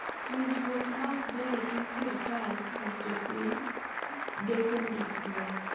Winjruok ma ok ber e kind sirikal kod jopiny deko ndikruok